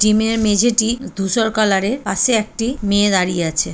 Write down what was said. জিমের মেঝেটি ধূসর কালার -এর পাশে একটি মেয়ে দাঁড়িয়ে আছে।